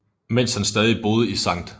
Mens han stadig boede i St